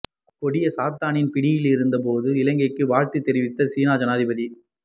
கொடிய சாத்தானின் பிடியிலிருந்த போதும் இலங்கைக்கு வாழ்த்து தெரிவித்த சீன ஜனாதிபதி